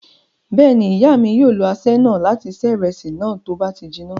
Bẹ́ẹ̀ ni, ìyá mi yóò lo aṣẹ́ náà láti ṣe ìrẹsì náà, tí ó bá ti jiná.